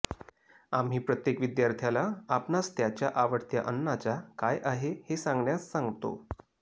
आम्ही प्रत्येक विद्यार्थ्याला आपणास त्याच्या आवडत्या अन्नाचा काय आहे हे सांगण्यास सांगतो